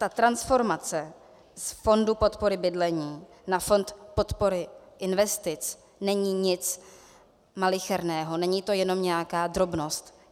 Ta transformace z fondu podpory bydlení na fond podpory investic není nic malicherného, není to jenom nějaká drobnost.